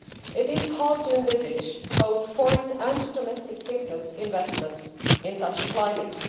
It is hard to envisage both foreign and domestic business investments in such a climate.